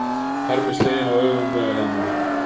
Harmi sleginn á öfugum vegarhelmingi